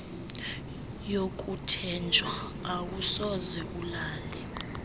yokuthenjwa awusoze ulale